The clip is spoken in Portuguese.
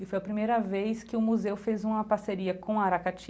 E foi a primeira vez que o Museu fez uma parceria com a Aracati